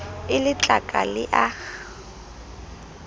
e le tlaka le a